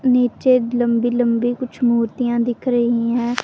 नीचे लंबी लंबी कुछ मूर्तियां दिख रही हैं।